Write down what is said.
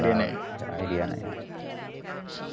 idea नाहीये.